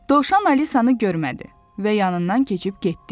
Dovşan Alisanı görmədi və yanından keçib getdi.